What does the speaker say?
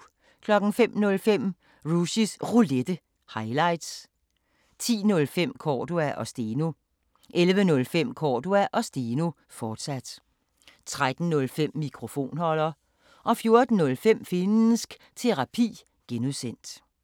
05:05: Rushys Roulette – highlights 10:05: Cordua & Steno 11:05: Cordua & Steno, fortsat 13:05: Mikrofonholder 14:05: Finnsk Terapi (G)